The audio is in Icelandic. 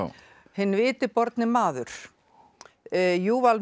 hinn viti borni maður